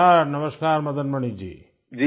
नमस्कार नमस्कार मदन मणि जी